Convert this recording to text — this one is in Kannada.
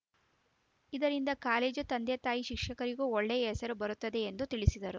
ಇದರಿಂದ ಕಾಲೇಜು ತಂದೆ ತಾಯಿ ಶಿಕ್ಷಕರಿಗೂ ಒಳ್ಳೆಯ ಹೆಸರು ಬರುತ್ತದೆ ಎಂದು ತಿಳಿಸಿದರು